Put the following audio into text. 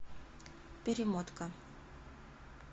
перемотка